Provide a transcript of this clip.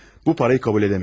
Bu pulu qəbul edə bilmərik.